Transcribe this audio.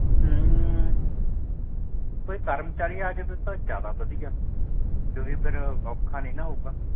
ਕੋਈ ਕਰਮਚਾਰੀ ਆ ਜੇਗਾ ਤਾਂ ਜ਼ਯਾਦਾ ਵੜਿਆ ਕਿਉਕਿ ਫੇਰ ਔਖਾ ਨਹੀਂ ਨਾ ਹੋਊਗਾ